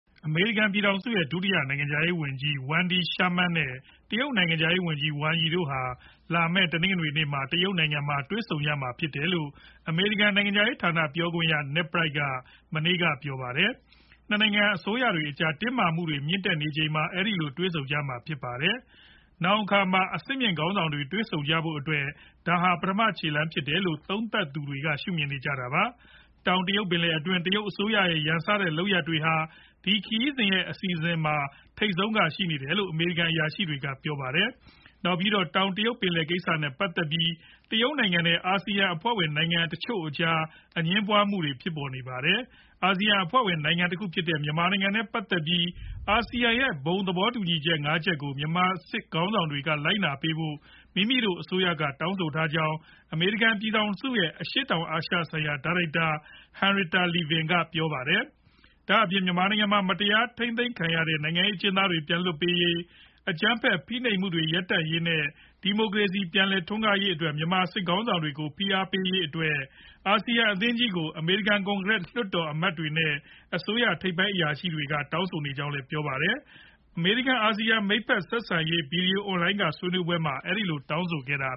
အမေရိကန် ပြည်ထောင်စု ရဲ့ ဒုတိယနိုင်ငံခြားရေးဝန်ကြီး Wendy Sherman နဲ့ တရုတ်နိုင်ငံခြားရေးဝန်ကြီး Wang Yi တို့ဟာ လာမယ် တနင်္ဂနွေနေ့မှာ တရုတ်နိုင်ငံမှာ တွေ့ဆုံကြမှာဖြစ်တယ်လို့ အမေရိကန်နိုင်ငံခြားရေးဌာန ပြောခွင့်ရ Ned Price က မနေ့က ပြောပါတယ်။၂ နိုင်ငံအစိုးတွေအကြား တင်းမာမှုတွေမြင့်လာနေချိန်မှာ အဲဒီလိုတွေ့ဆုံကြမှာဖြစ်ပါတယ်။ နောင်အခါမှာ အဆင့်မြင့်ခေါင်းဆောင်တွေ တွေ့ဆုံကြဖို့အတွက် ဒါဟာ ပထမချေလှမ်းဖြစ်တယ်လို့ သုံးသပ်သူတွေက ရှုမြင်နေကြတာပါ။ တောင်တရုတ်ပင်လယ်တွင်း တရုတ်အစိုရရဲ့ ရန်စတဲ့ လုပ်ရပ်တွေဟာ ဒီခရီးစဉ်ရဲ့ အစီအစဉ်ထဲမှာ ထိပ်ဆုံးကရှိနေတယ်လို့ အမေရိကန်အရာရှိတွေက ပြောပါတယ်။ နောက်ပြီးတော့ တောင်တရုတ်ပင်လယ်ကိစ္စနဲ့ ပတ်သက်ပြီး တရုတ်နိုင်ငံနဲ့ အာဆီယံအဖွဲ့ဝင်နိုင်ငံတချို့အကြားအငြင်းပွားနေကြတာပါ။ အာဆီယံအဖွဲ့ဝင် နိုင်ငံတခုဖြစ်တဲ့ မြန်မာနိုင်ငံနဲ့ပတ်သက်ပြီး အာဆီယံရဲ့ဘုံသဘောတူညီချက်ငါးချက်ကို မြန်မာစစ်ခေါင်းဆောင်တွေက လိုက်နာပေးဖို့ မိမိတို့အစိုးရက တောင်းဆိုထားကြောင်း အမေရိကန် ပြည်ထောင်စုရဲ့ အရှေ့တောင်အာရှဆိုင်ရာ ဒါရိုက်တာ Henrietta Levin က ပြောပါတယ်။ ဒါအပြင် မြန်မာနိုင်ငံမှာ မတရားထိန်းသိမ်းခံနေရတဲ့ နိုင်ငံရေးအကျဉ်းသားတွေ ပြန်လွှတ်ပေးရေး၊ အကြမ်းဖက် ဖိနိုပ်မှုတွေရပ်တန့်ရေး နဲ့ ဒီမိုကရေစီ ပြန်လည်ထွန်းကားရေးတို့အတွက် မြန်မာစစ်ခေါင်းဆောင်တွေကို ဖိအားပေးရေးတို့အတွက် အာဆီယံအသင်းကြီးကို အမေရိကန် ကွန်ကရက်လွှတ်တော်အမတ်တွေ နဲ့ အစိုးရထိပ်ပိုင်းအရာရှိတွေက တောင်းဆိုနေကြောင်းပြောပါတယ်။ အမေရိကန် အာဆီယံ မိတ်ဖက်ဆက်ဆံရေး ဗွီဒီယိုအွန်လိုင်း ကဆွေးနွေးပွဲမှာ အဲဒီလိုတောင်းဆိုခဲ့တာ